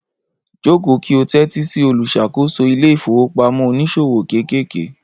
Joko ki o tẹ́tí sí olùṣàkóso ilé ìfowópamọ́ oníṣòwò kéékèèké.